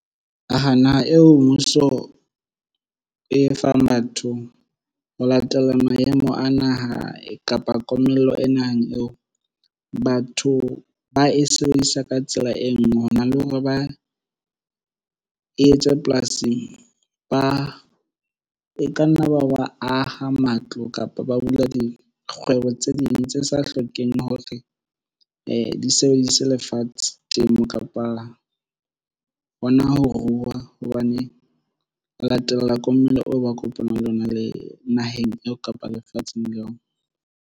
Naha eo mmuso e fang batho ho latela maemo a naha kapa komello e naheng eo. Batho ba e sebedisa ka tsela e nngwe hona le hore ba e etse polasing. Ba ka nna ba aha matlo kapa ba bula dikgwebo tse ding tse sa hlokeng hore ise lefatshe temo kapa hona ho rua hobane o latela komello oo ba kopanang le ona le naheng eo kapa lefatsheng leo.